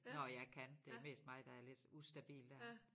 Når jeg kan det mest mig der er lidt ustabil dér